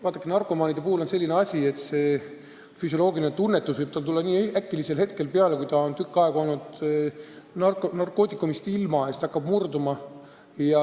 Vaadake, narkomaaniga on selline asi, et kui ta on tükk aega olnud narkootikumidest ilma, siis selline füsioloogiline tunnetus võib tal tekkida väga äkki ja ta hakkab murduma.